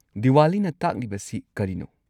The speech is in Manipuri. ꯗꯤꯋꯥꯂꯤꯅ ꯇꯥꯛꯂꯤꯕꯁꯤ ꯀꯔꯤꯅꯣ?